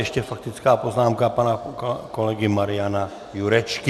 Ještě faktická poznámka pana kolegy Mariana Jurečky.